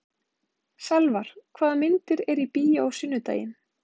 Salvar, hvaða myndir eru í bíó á sunnudaginn?